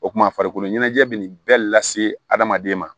O kumana farikolo ɲɛnajɛ bɛ nin bɛɛ lase adamaden ma